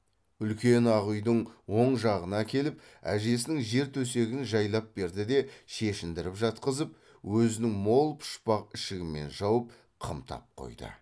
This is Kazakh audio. үлкен ақ үйдің оң жағына әкеліп әжесінің жер төсегін жайлап берді де шешіндіріп жатқызып өзінің мол пұшпақ ішігімен жауып қымтап қойды